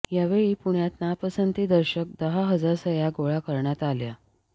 यावेळी पुण्यात नापसंती दर्शक दहा हजार सह्य़ा गोळा करण्यात आल्या